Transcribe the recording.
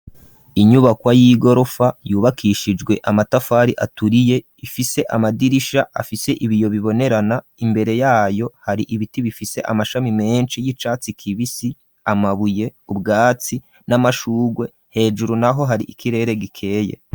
Inyubako y'igorofa yubakishijwe amatafari aturiye ifise amadirisha afise ibiyo bibonerana, imbere yayo hari ibiti bifise amashami menshi y'icatsi kibisi, amabuye, ubwatsi, n'amashugwe hejuru naho hari ikirere gikeye.